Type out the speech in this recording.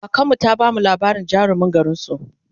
kakanmu ta bamu labarin jarumin garinsu